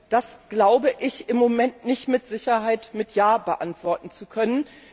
Das glaube ich im Moment nicht mit Sicherheit mit ja beantworten zu können.